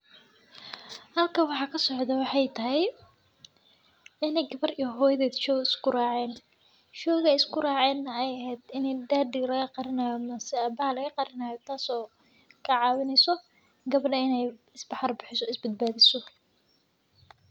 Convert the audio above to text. Halka waxa ka socda, waxay tahay in ay gabadh iyo hooyoded shoo isu guuraacayn. Shooga isku guuracayna ayahay in daddy laga qarinayn, si aabaal ay qarinayd taas oo ka caawinayso gabdhan inay bixiso isbad baadhayso.